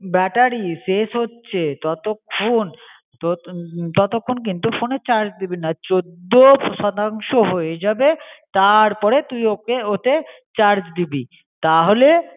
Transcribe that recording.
Battery সেশ হচে তোতোখন, তোর উম তোতোখন কিন্তু ফোনে চার্জ দিবিনা. চোদদো সদাংশও হয়ে যাবে তার পরে তুই ওকে ওতে চার্জ দিবি তাহলে